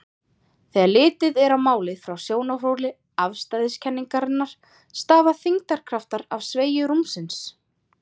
Þegar litið er á málið frá sjónarhóli afstæðiskenningarinnar stafa þyngdarkraftar af sveigju rúmsins.